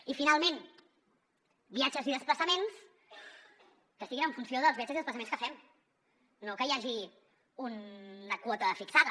i finalment viatges i desplaçaments que siguin en funció dels viatges i desplaçaments que fem no que hi hagi una quota fixada